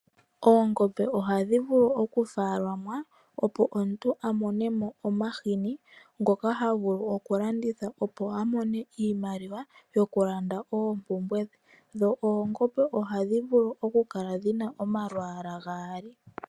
Oongombe ohadhi vulu okufaalamwa opo omuntu amonemo omahini ngoka havulu okulanditha opo amone iimaliwa yokulanda oompumbwe dhe. Dho oongombe ohadhi vulu okukala dhina omalwaala gaali.